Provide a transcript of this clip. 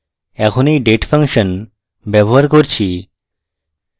এখন এই date function ব্যবহার করছি